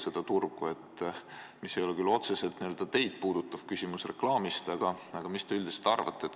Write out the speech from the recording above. See teid küll otseselt ei puuduta, aga mis te sellealasest reklaamist üldiselt arvate?